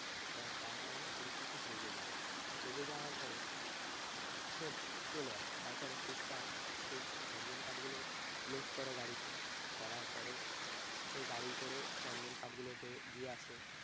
আহ তার কারণে পুলিশটা খুব রেগে যায়। রেগে যাওয়ার পরে সে চলে আসে তারপরে পুষ্পা সে~ সেই চন্দন কাঠ গুলো load করে গাড়িতে করার পরে সে গাড়ি করে চন্দন কাঠগুলোকে দিয়ে আসে।